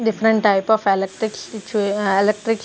Different type of electric switch ah electric.